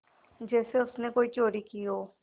जैसे उसने कोई चोरी की हो